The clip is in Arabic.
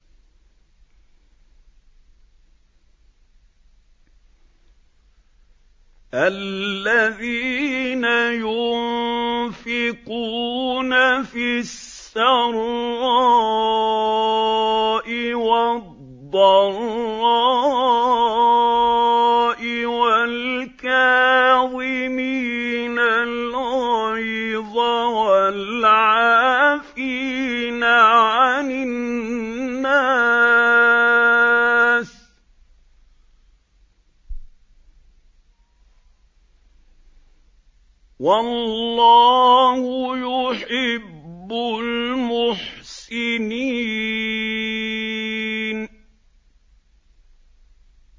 الَّذِينَ يُنفِقُونَ فِي السَّرَّاءِ وَالضَّرَّاءِ وَالْكَاظِمِينَ الْغَيْظَ وَالْعَافِينَ عَنِ النَّاسِ ۗ وَاللَّهُ يُحِبُّ الْمُحْسِنِينَ